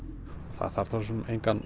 það þarf engan